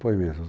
Foi mesmo.